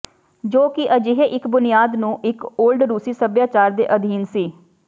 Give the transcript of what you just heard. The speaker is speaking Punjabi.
ਜੋ ਕਿ ਅਜਿਹੇ ਇੱਕ ਬੁਨਿਆਦ ਨੂੰ ਇੱਕ ਓਲਡ ਰੂਸੀ ਸਭਿਆਚਾਰ ਦੇ ਅਧੀਨ ਸੀ